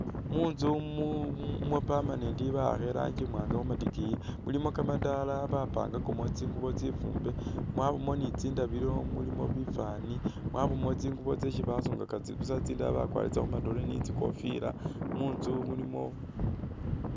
Munzu mu mwa permanent ba'akha i'rangi imwaanga khu matikiyi, mulimo kamadaala bapangakamu tsingubo tsifuumbe, mwabamo ni tsindabilo mulimo bifwaani mwabamo tsingubo tsesi basungaka busa tsindala bakwarisa khu madole ni tsikofila, munzu mulimo